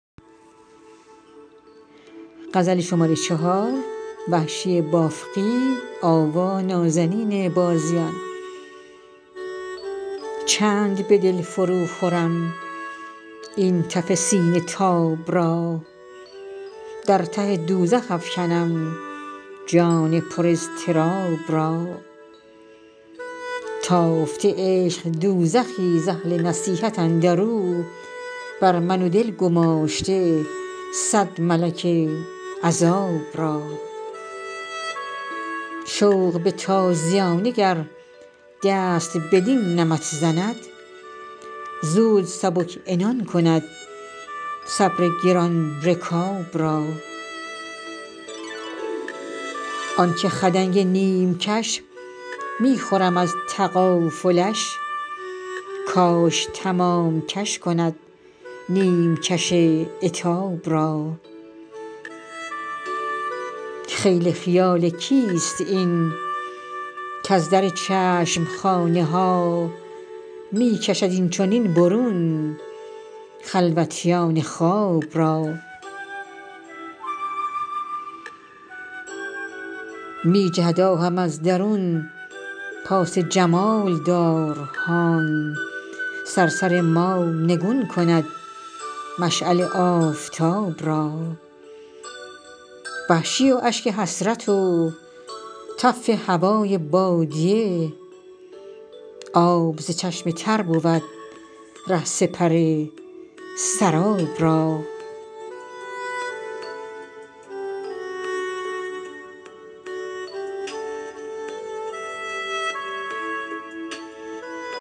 چند به دل فرو خورم این تف سینه تاب را در ته دوزخ افکنم جان پر اضطراب را تافته عشق دوزخی ز اهل نصیحت اندرو بر من و دل گماشته سد ملک عذاب را شوق به تازیانه گر دست بدین نمط زند زود سبک عنان کند صبر گران رکاب را آنکه خدنگ نیمکش می خورم از تغافلش کاش تمام کش کند نیمکش عتاب را خیل خیال کیست این کز در چشمخانه ها می کشد اینچنین برون خلوتیان خواب را می جهد آهم از درون پاس جمال دار هان صرصر ما نگون کند مشعل آفتاب را وحشی و اشک حسرت و تف هوای بادیه آب ز چشم تر بود ره سپر سراب را